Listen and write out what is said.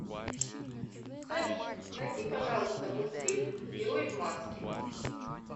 салют найди пожалуйста мультфильм герой в маске